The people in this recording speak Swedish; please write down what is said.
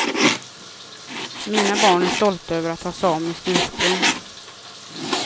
Mina barn är stolta över att ha samiskt ursprung.